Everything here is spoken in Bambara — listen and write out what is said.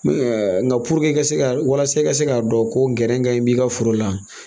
nka i ka se ka walasa i ka se k'a dɔn ko gɛrɛ ka ɲi b'i ka foro la